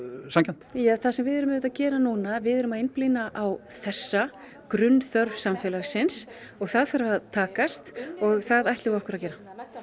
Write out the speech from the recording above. sanngjarnt það sem við erum auðvitað að gera núna við erum að einblína á þessa grunnþörf samfélagsins það þarf að takast og það ætlum við okkur að gera